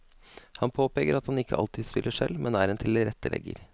Han påpeker at han ikke alltid spiller selv, men er en tilrettelegger.